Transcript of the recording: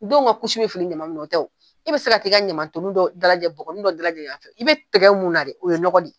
Denw ka kusi bɛ fili ɲaman minnu na o tɛ wo, i bɛ se ka t'i ka ɲamatoli dɔ dalajɛ bɔgɔnin dɔ dalajɛ yan fɛ , i bɛ tɛgɛ mun na dɛ , o ye nɔgɔ ye